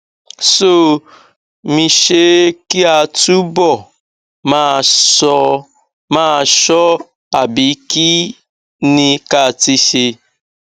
somisṣé kí a túbọ máa ṣọ máa ṣọ ọ àbí kí ni ká ti ṣe